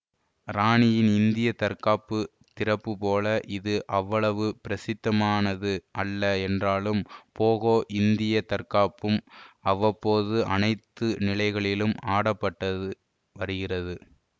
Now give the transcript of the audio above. இராணியின் இந்திய தற்காப்பு திறப்பு போல இது அவ்வளவு பிரசித்தமானது அல்ல என்றாலும் போகோ இந்திய தற்காப்பும் அவ்வப்போது அனைத்து நிலைகளிலும் ஆடப்பட்டது வருகிறது